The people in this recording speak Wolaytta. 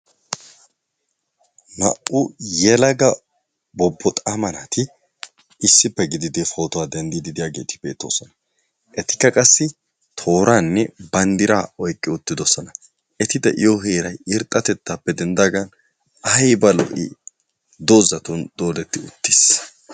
Naa''u yelaga bobboxaama naati issipe gididi pootuwaa denddidi diyageeti beettoosona. Etikka qassi tooranne banddira oyqqi uttidoosona. Eti de'iyo heeray irxxatettappe denddaagan aybba lo''i doozatun dooddeti uttiis.